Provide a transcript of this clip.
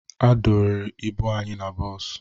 A dọnyere ibu anyị na bọọsụ